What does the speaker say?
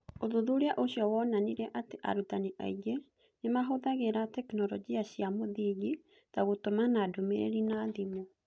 Ũthuthuria ũcio wonanirie atĩ arutani aingĩ nĩ maahũthagĩra tekinolonjĩ cia mũthingi (ta gũtũmana ndũmĩrĩri na thimũ).